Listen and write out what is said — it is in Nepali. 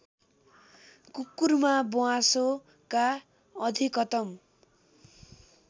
कुकुरमा ब्वाँसोका अधिकतम